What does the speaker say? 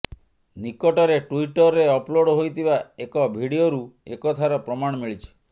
ନିକଟରେ ଟୁଇଟରରେ ଅପଲୋଡ୍ ହୋଇଥିବା ଏକ ଭିଡିଓରୁ ଏକଥାର ପ୍ରମାଣ ମିଳିଛି